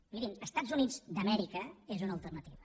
mirin els estats units d’amèrica són una alternativa